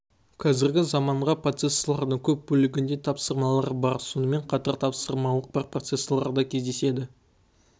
қазіргі заманғы процессорлардың көп бөлігінде тапсырмалар бар сонымен қатар тапсырмалық бар процессорлар да кездеседі